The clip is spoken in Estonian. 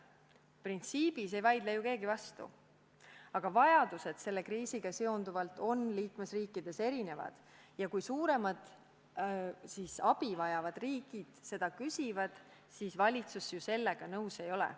Printsiibis ei vaidle keegi vastu, aga selle kriisiga seotud vajadused on liikmesriikides erinevad ja kui suuremad abi vajavad riigid seda küsivad, siis valitsus ju sellega nõus ei ole.